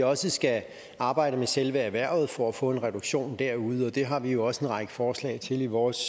også skal arbejde med selve erhvervet for at få en reduktion derude og det har vi jo også en række forslag til i vores